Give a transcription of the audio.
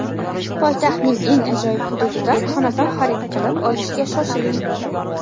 Poytaxtning eng ajoyib hududidan xonadon xarid qilib olishga shoshiling!.